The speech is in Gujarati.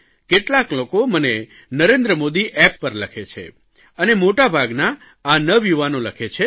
કેટલાક લોકો મને નરેન્દ્ર મોદી એપ્પ પર લખે છે અને મોટાભાગના આ નવયુવાનો લખે છે